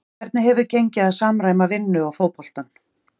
Hvernig hefur gengið að samræma vinnu og fótboltann?